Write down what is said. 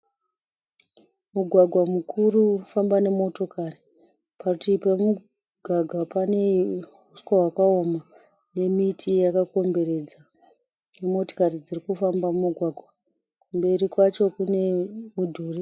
Mugwagwa mukuru unofamba nemotokari. Parutivi pemugwagwa pane uswa wakaoma nemiti yakakomberedza nemotokari dzirikufamba mumugwagwa. Kumberi kwacho kune mudhuri.